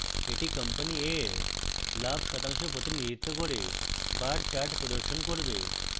এটি company a এর লাভ শতাংশ প্রতিনিধিত্ব করে bar chart প্রদর্শন করবে